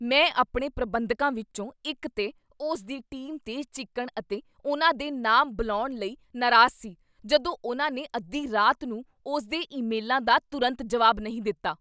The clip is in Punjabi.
ਮੈਂ ਆਪਣੇ ਪ੍ਰਬੰਧਕਾਂ ਵਿੱਚੋਂ ਇੱਕ 'ਤੇ ਉਸ ਦੀ ਟੀਮ 'ਤੇ ਚੀਕਣ ਅਤੇ ਉਨ੍ਹਾਂ ਦੇ ਨਾਮ ਬੁਲਾਉਣ ਲਈ ਨਾਰਾਜ਼ ਸੀ ਜਦੋਂ ਉਨ੍ਹਾਂ ਨੇ ਅੱਧੀ ਰਾਤ ਨੂੰ ਉਸ ਦੇ ਈਮੇਲਾਂ ਦਾ ਤੁਰੰਤ ਜਵਾਬ ਨਹੀਂ ਦਿੱਤਾ।